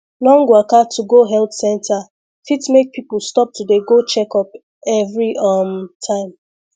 long waka to go health center fit make people stop to dey go checkup every um time